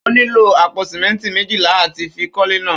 Ó nílò àpò sìmẹ́ńtì méjìlá àti fi kọ́lé náà.